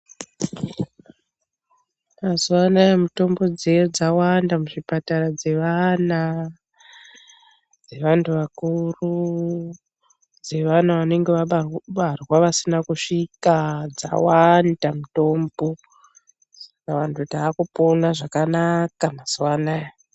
Mazuva anaya mitombo dziya dzawanda muzvipatara dzevana, dzevantu vakuru, dzevana vanenge vabarwa vasina kusvika ,dzawanda mitombo dzawanda takupona zvakanaka mazuwa anaya.